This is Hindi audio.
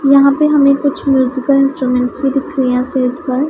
यहां पे हमें म्यूजिकल इंस्ट्रूमेंट दिख रहे है स्टेज पर--